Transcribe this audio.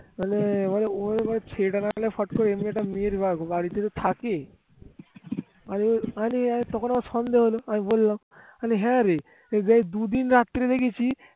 আমি জানি তখন আমার সন্দেহ হলো আমি বললাম হ্যাঁরে তুই যে দুদিন রাতে গিয়েছিলি